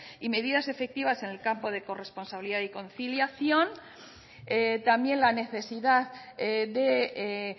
y medidas efectivas en el campo de corresponsabilidad y conciliación también la necesidad de